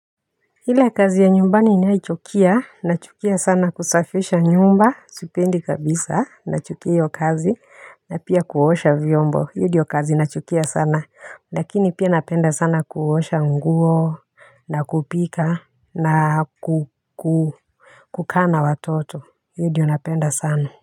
Ile kazi ya nyumbani nayoichukia, nachukia sana kusafisha nyumba, sipendi kabisa nachukia hiyo kazi, na pia kuosha vyombo, hiyo ndio kazi nachukia sana. Lakini pia napenda sana kuosha nguo, na kupika na kukaa na watoto. Hiyo ndio napenda sana.